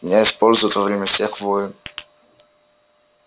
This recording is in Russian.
меня используют во время всех войн